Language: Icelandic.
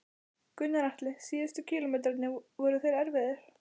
Gunnar Atli: Síðustu kílómetrarnir, voru þeir erfiðir?